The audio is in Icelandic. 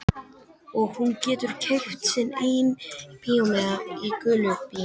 Og hún getur keypt sinn eigin bíómiða í gulu bíói.